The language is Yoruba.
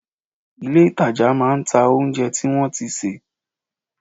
Ilé ìtajà máa ń ta oúnjẹ tí wọ́n ti sè